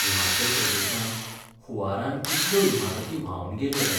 हिमाचल प्रदेशांत हुंवारान कितल्यो इमारती व्हांवन गेल्यो रे.